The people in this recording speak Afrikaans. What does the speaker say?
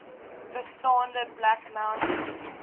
bestaande black mountain